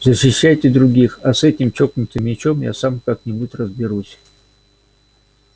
защищайте других а с этим чокнутым мячом я сам как-нибудь разберусь